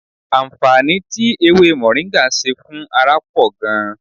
Àǹfààní tí ewé mọ̀ríńgà ṣe fún ara pọ̀ gan-an